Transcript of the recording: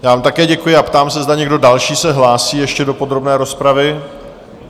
Já vám také děkuji a ptám se, zda někdo další se hlásí ještě do podrobné rozpravy?